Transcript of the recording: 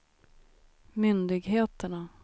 myndigheterna